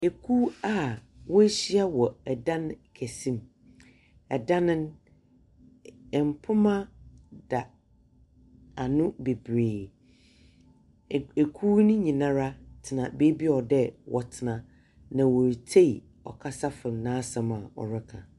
Eku a wɔɔhyia wɔ ɛdan kɛse mu. Ɛdan no ɛmpoma da ano bebree. Eku no nyinaa ara tena beebia wɔ dɛɛ wɔtena na wɔretsei ɔkasafo n'asɛm a ɔreka.